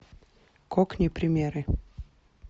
кокни примеры